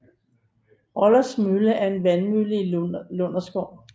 Rolles Mølle er en vandmølle i Lunderskov